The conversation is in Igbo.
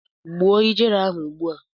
Gbuo ijere ahụ ugbu a!